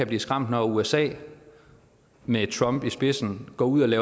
blive skræmt når usa med trump i spidsen går ud